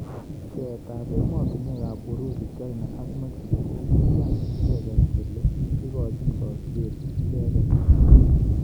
Pcheet ab emotunwek ab Urusi china ak mexico kokoiyan icheket kole ikochin kasubet icheket.